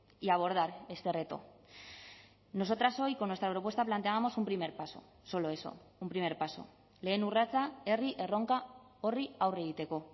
y abordar este reto nosotras hoy con nuestra propuesta planteábamos un primer paso solo eso un primer paso lehen urratsa herri erronka horri aurre egiteko